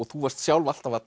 þú varst sjálf alltaf að